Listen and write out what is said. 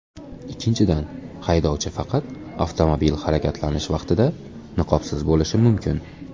Ikkinchidan, haydovchi faqat avtomobil harakatlanish vaqtida niqobsiz bo‘lishi mumkin.